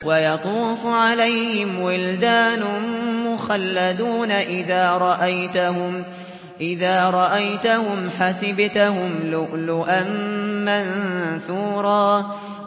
۞ وَيَطُوفُ عَلَيْهِمْ وِلْدَانٌ مُّخَلَّدُونَ إِذَا رَأَيْتَهُمْ حَسِبْتَهُمْ لُؤْلُؤًا مَّنثُورًا